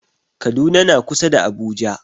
Kaduna na kusa da Abuja.